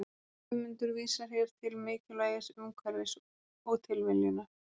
guðmundur vísar hér til mikilvægis umhverfis og tilviljunar